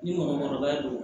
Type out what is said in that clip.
Ni mɔgɔkɔrɔba don